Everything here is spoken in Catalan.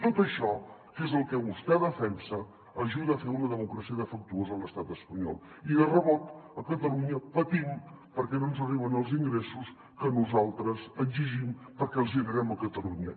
tot això que és el que vostè defensa ajuda a fer una democràcia defectuosa a l’estat espanyol i de rebot a catalunya patim perquè no ens arriben els ingressos que nosaltres exigim perquè els generem a catalunya